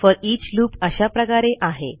foreach loop अशा प्रकारे आहे